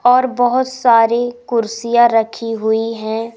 और बहोत सारे कुर्सियां रखी हुई है।